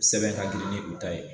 Sɛbɛn ka grin ni u ta ye